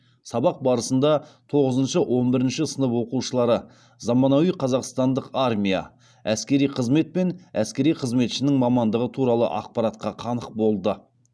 сабақ барысында тоғызыншы он бірінші сынып оқушылары заманауи қазақстандық армия әскери қызмет пен әскери қызметшінің мамандығы туралы ақпаратқа қанық болды